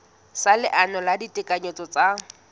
sa leano la ditekanyetso tsa